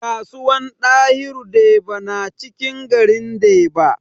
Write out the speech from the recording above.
Kasuwan dahiru deba na cikin garin deba